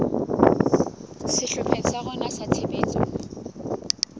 sehlopheng sa rona sa tshebetso